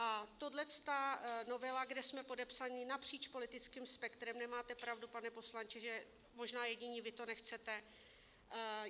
A tahleta novela, kde jsme podepsaní napříč politickým spektrem - nemáte pravdu, pane poslanče, že... možná jediní vy to nechcete.